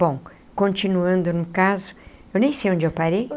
Bom, continuando no caso, eu nem sei onde eu parei.